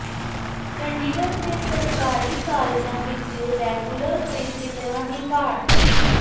ਚੰਡੀਗੜ੍ਹ ਦੇ ਸਰਕਾਰੀ ਕਾਲਜਾਂ ਵਿੱਚ ਰੈਗੂਲਰ ਪ੍ਰਿੰਸੀਪਲਾਂ ਦੀ ਘਾਟ